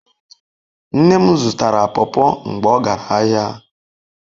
Nne m zutara pawpaw mgbe o gara ahia